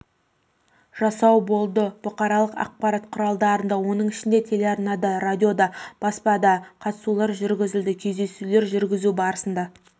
жасау болды бұқаралық ақпарат құралдарында оның ішінде телеарналарда радиода баспада қатысулар жүргізілді кездесулер жүргізу барысында